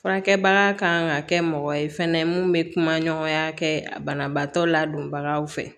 Furakɛbaga kan ka kɛ mɔgɔ ye fɛnɛ mun bɛ kuma ɲɔgɔnya kɛ banabaatɔ ladonbagaw fɛ